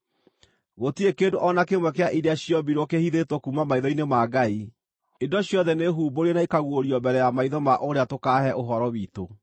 Gũtirĩ kĩndũ o na kĩmwe kĩa iria ciombirwo kĩhithĩtwo kuuma maitho-inĩ ma Ngai. Indo ciothe nĩhumbũrie na ikaguũrio mbere ya maitho ma ũrĩa tũkaahe ũhoro witũ.